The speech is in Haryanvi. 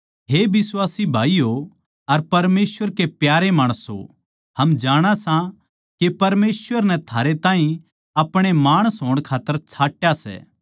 हे बिश्वासी भाईयो अर परमेसवर के प्यारे माणसों हम जाणा सां के परमेसवर नै थारे ताहीं अपणे माणस होण खात्तर छाट्या सै